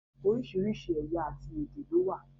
Orísìírísìí ẹ̀yà àti èdè ló wà